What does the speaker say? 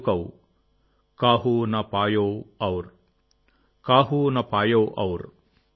ఏవరికీ అంతుచిక్కలేదు